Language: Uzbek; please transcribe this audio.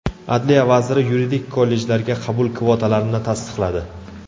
Adliya vaziri yuridik kollejlarga qabul kvotalarini tasdiqladi.